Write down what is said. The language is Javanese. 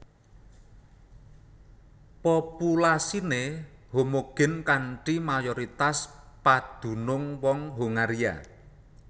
Populasiné homogin kanthi mayoritas padunung wong Hongaria